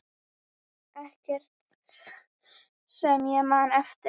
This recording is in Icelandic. Ekkert sem ég man eftir.